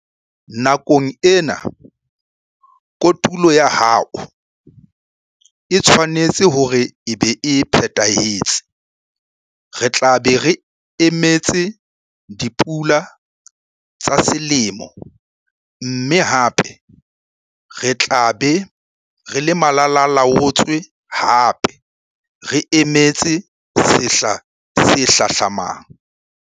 Nakong ena kotulo ya hao e tshwanetse hore e be e phethahetse. Re tla be re emetse dipula tsa selemo, mme hape re tla be re le malala-a-laotswe hape, re emetse sehla se hlahlamang.